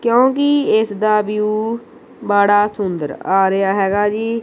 ਕਿਉਂਕਿ ਇਸ ਦਾ ਵਿਊ ਬੜਾ ਸੁੰਦਰ ਆ ਰਿਹਾ ਹੈਗਾ ਜੀ।